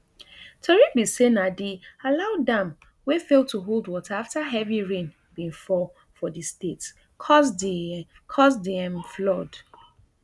tori be say na di alau dam wey fail to hold water afta heavy rain bin fall for di state cause di cause di um flood